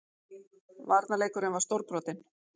Varnarleikurinn var stórbrotinn